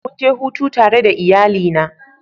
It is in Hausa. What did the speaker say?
Mun je hutu tare da iyalina.